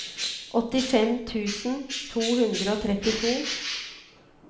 åttifem tusen to hundre og trettito